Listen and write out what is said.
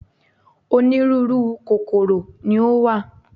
Onírúurú kòkòrò ni ó wà.